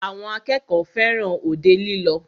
Àwọn akẹ́kọ̀ọ́ fẹràn òde lílọ.